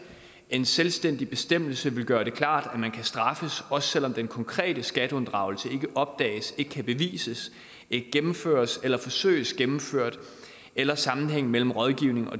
en selvstændig bestemmelse vil gøre det klart at man kan straffes også selv om den konkrete skatteunddragelse ikke opdages ikke kan bevises ikke gennemføres eller forsøges gennemført eller sammenhængen mellem rådgivningen og